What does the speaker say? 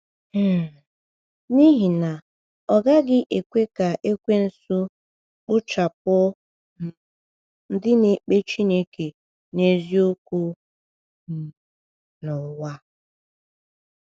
um N’ihi na, ọ gaghị ekwe ka Ekwensu kpochapụ um ndị na-ekpe Chineke n’eziokwu um n’ụwa!